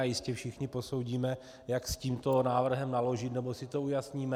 A jistě všichni posoudíme, jak s tímto návrhem naložit, nebo si to ujasníme.